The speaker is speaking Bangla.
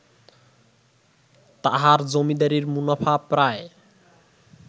তাঁহার জমীদারীর মুনাফা প্রায়